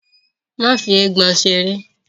Má fi “eégbọn” seré.!